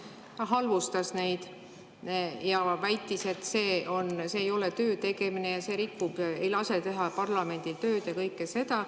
Ta halvustas neid ja väitis, et see ei ole töötegemine ja see ei lase teha parlamendil tööd ja kõike seda.